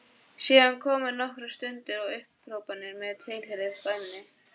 Síðan komu nokkrar stunur og upphrópanir með tilheyrandi væmni.